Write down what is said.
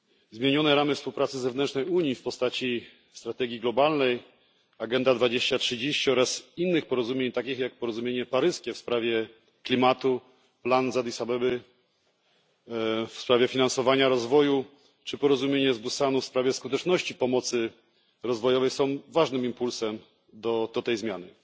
Zmienione ramy współpracy zewnętrznej Unii w postaci strategii globalnej Agenda 2030 oraz innych porozumień, takich jak porozumienie paryskie w sprawie klimatu, plan z Addis Abeby w sprawie finansowania rozwoju, czy porozumienie z Busanu w sprawie skuteczności pomocy rozwojowej, są ważnym impulsem do tej zmiany.